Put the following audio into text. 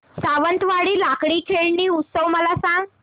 सावंतवाडी लाकडी खेळणी उत्सव मला सांग